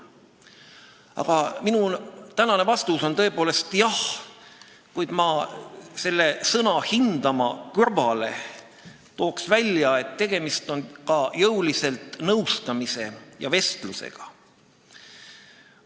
Aga minu tänane vastus hääletusel oleks siiski jah", kuid ma tooksin sõna "hindama" kõrval välja, et tegemist on ka jõulise nõustamise ja vestlusega.